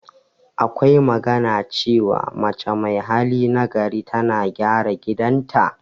Akwa magana cewa, mace mai hali na gari tana gyara gidan ta.